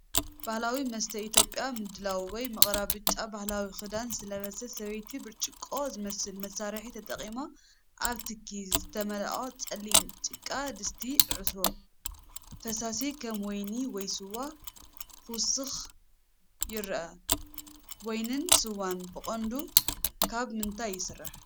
ባህላዊ መስተ ኢትዮጵያ ምድላው ወይ ምቕራብ። ብጫ ባህላዊ ክዳን ዝለበሰት ሰበይቲ ብርጭቆ ዝመስል መሳርሒ ተጠቒማ ኣብ ትኪ ዝተመልአ ጸሊም ጭቃ ድስቲ (ዕትሮ) ፈሳሲ (ከም ወይኒ ወይ ስዋ) ክውስኽ ይርአ። ወይንን ስዋን ብቐንዱ ካብ ምንታይ ይስራሕ?